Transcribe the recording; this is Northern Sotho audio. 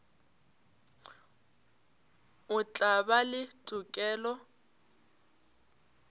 o tla ba le tokelo